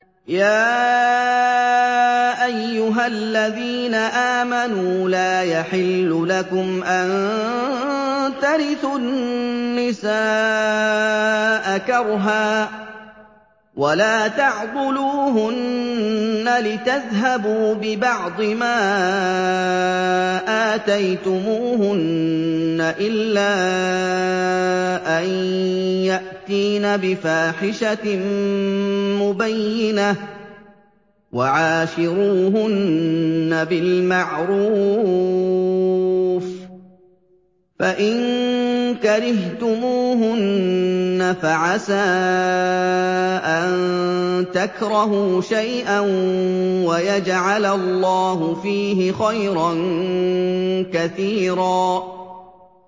يَا أَيُّهَا الَّذِينَ آمَنُوا لَا يَحِلُّ لَكُمْ أَن تَرِثُوا النِّسَاءَ كَرْهًا ۖ وَلَا تَعْضُلُوهُنَّ لِتَذْهَبُوا بِبَعْضِ مَا آتَيْتُمُوهُنَّ إِلَّا أَن يَأْتِينَ بِفَاحِشَةٍ مُّبَيِّنَةٍ ۚ وَعَاشِرُوهُنَّ بِالْمَعْرُوفِ ۚ فَإِن كَرِهْتُمُوهُنَّ فَعَسَىٰ أَن تَكْرَهُوا شَيْئًا وَيَجْعَلَ اللَّهُ فِيهِ خَيْرًا كَثِيرًا